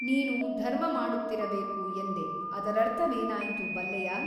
ನೀನು ಧರ್ಮಮಾಡುತ್ತಿರಬೇಕು ಎಂದೆ ಅದರರ್ಥವೇನಾಯಿತು ಬಲ್ಲೆಯಾ?